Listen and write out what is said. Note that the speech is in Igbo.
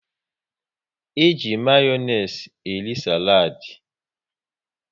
E ji Mayonezi eri saladi